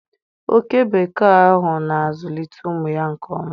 Oke bekee ahụ na-azụlite ụmụ ya nke ọma.